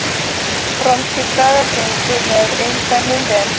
Franskir dagar gengu með eindæmum vel